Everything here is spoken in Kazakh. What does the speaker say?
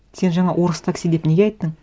сен жаңа орыс такси деп неге айттың